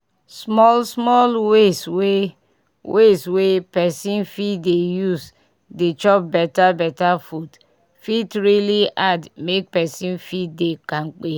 small small ways wey ways wey pesin fit dey use dey chop beta beta food fit really add make pesin fit dey kampe